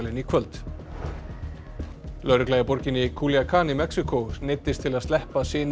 í kvöld lögregla í borginni Culiacán í Mexíkó neyddist til að sleppa syni